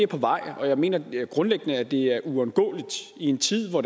på vej og jeg mener grundlæggende at det er uundgåeligt i en tid hvor